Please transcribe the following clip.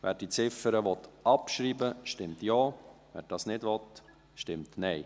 Wer diese Ziffer abschreiben will, stimmt Ja, wer das nicht will, stimmt Nein.